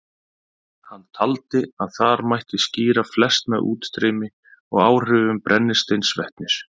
Hann taldi að þar mætti skýra flest með útstreymi og áhrifum brennisteinsvetnis.